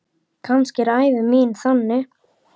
Kannski er ævi mín þannig.